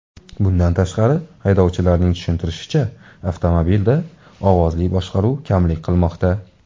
Bundan tashqari, haydovchilarning tushuntirishicha, avtomobilda ovozli boshqaruv kamlik qilmoqda.